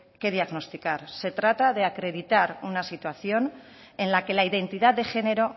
que diagnosticar se trata de acreditar una situación en la que la identidad de género